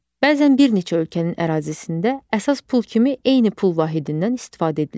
Bəzən bir neçə ölkənin ərazisində əsas pul kimi eyni pul vahidindən istifadə edilir.